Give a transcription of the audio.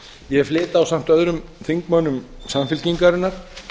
ég flyt ásamt öðrum þingmönnum samfylkingarinnar